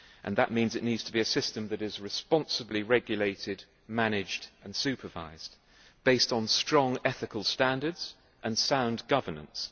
That means it needs to be a system that is responsibly regulated, managed and supervised, based on strong ethical standards and sound governance.